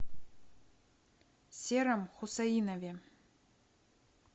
сером хусаинове